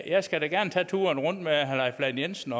jeg skal da gerne tage turen rundt med herre leif lahn jensen